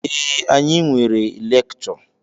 Ee, anyị nwere lekchọ.